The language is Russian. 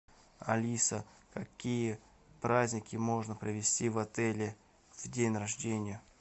алиса какие праздники можно провести в отеле в день рождения